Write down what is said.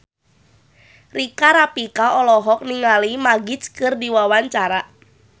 Rika Rafika olohok ningali Magic keur diwawancara